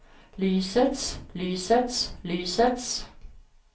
lysets lysets lysets